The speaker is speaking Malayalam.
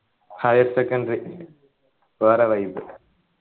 higher secondary വേറെ vibe